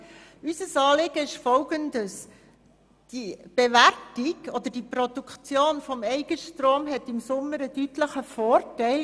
Die Produktion des eigenen Stroms hat im Sommer im Vergleich zum Winter einen deutlichen Vorteil.